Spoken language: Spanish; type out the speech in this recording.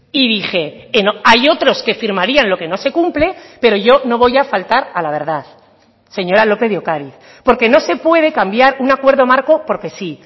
y dije hay otros que firmarían lo que no se cumple pero yo no voy a faltar a la verdad señora lópez de ocariz porque no se puede cambiar un acuerdo marco porque sí